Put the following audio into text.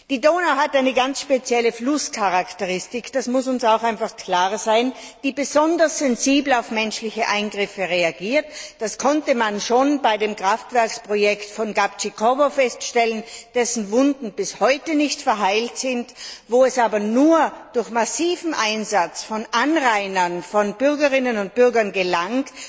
Die Donau hat eine ganz spezielle Flusscharakteristik das muss auch einfach klar sein die besonders sensibel auf menschliche Eingriffe reagiert. Das konnte man schon bei dem Kraftwerksprojekt von Gabčíkovo feststellen, dessen Wunden bis heute nicht verheilt sind, wo es aber nur durch massiven Einsatz von Anrainern, von Bürgerinnen und Bürgern gelang,